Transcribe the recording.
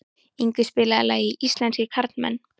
Yngvi, spilaðu lagið „Íslenskir karlmenn“.